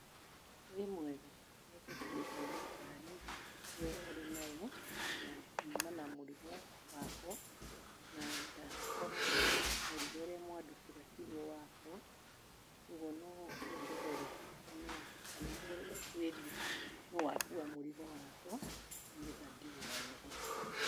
Wĩ mwega, nĩngũkuĩtwo nĩ ngari ĩyo ũrĩ nayo, na nyuma na mũrigo wakwa, na ndakora mũrigo ũrĩa mwandutĩra tigwo wakwa, ũguo no ũndorere nũ kana ũtwĩrie nũũ wakua mũrigo wakwa, nĩgetha ndĩwone.